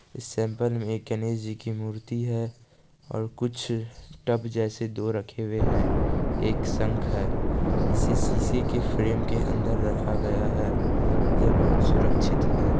इस में एक गणेशजी की मूर्ति है कुछ टब जैसे दो रखे हुए है एक शंख है इसे शीशे के फ्रेम के अंदर रखा गया है यह बहुत सुरक्षित है।